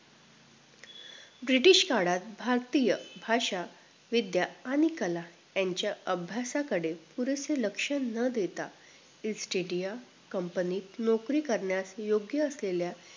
British काळात भारतीय भाषा विद्या आणि कला यांच्या अभ्यासाकडे पुरस लक्ष न देता estdiya company नोकरी करण्यास योग्य असलेल्या